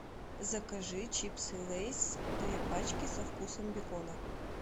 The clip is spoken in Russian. закажи чипсы лейс две пачки со вкусом бекона